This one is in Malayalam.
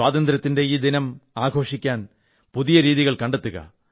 സ്വാതന്ത്ര്യത്തിന്റെ ഈ ദിനം ആഘോഷിക്കാൻ പുതിയ രീതികൾ കണ്ടെത്തുക